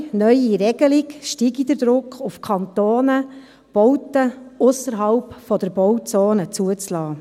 Ohne neue Regelung steige der Druck auf die Kantone, Bauten ausserhalb der Bauzone zuzulassen.